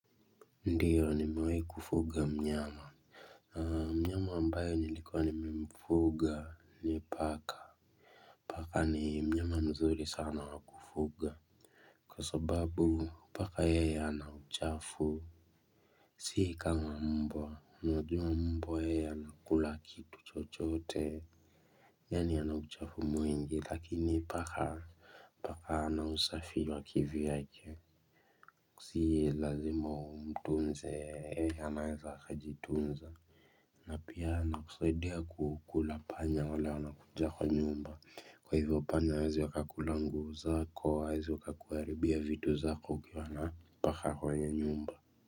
Ndiyo nimewai kufuga mnyama mnyama ambayo nilikuwa nimemfuga ni paka paka ni mnyama mzuri sana wa kufuga kwa sababu paka yeye hana uchafu si kama mbwa unajua mbwa yeye anakula kitu chochote yani ana uchafu mwingi lakini paka paka ana usafi wa kivyake si lazima umtunze yeye anaeza akajitunza. Na pia anakusaidia kukula panya wale wana kuja kwa nyumba kwa hivyo panya hawezi akakula nguo zako hawezi akakuharibia vitu zako ukiwa na paka kwa nyumba.